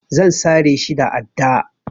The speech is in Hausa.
Zan sare shi da adda.